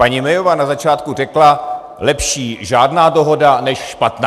Paní Mayová na začátku řekla: Lepší žádná dohoda než špatná.